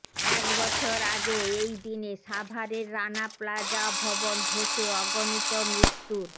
এক বছর আগে এই দিনে সাভারের রানা প্লাজা ভবনধসে অগণিত মৃত্যুর